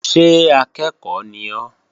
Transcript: Ṣé akẹ́ẹ̀kọ́ ni ọ́?